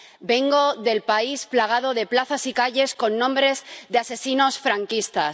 Vengo del país plagado de plazas y calles con nombres de asesinos franquistas.